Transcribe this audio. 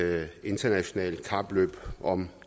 internationalt kapløb om